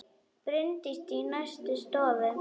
Bryndís í næstu stofu!